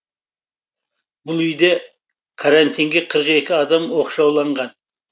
бұл үйде карантинге қырық екі адам оқшауланған